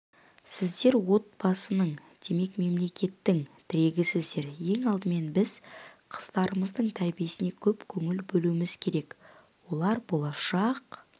сіздер отбасының демек мемлекеттің тірегісіздер ең алдымен біз қыздарымыздың тәрбиесіне көп көңіл бөлуіміз керек олар болашақ